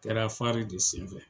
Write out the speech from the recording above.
Kɛra de sen fɛ.